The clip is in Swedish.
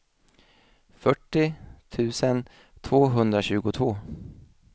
fyrtio tusen tvåhundratjugotvå